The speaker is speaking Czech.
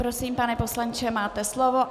Prosím, pane poslanče, máte slovo.